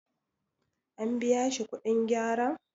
an biya shi kudin gyaran?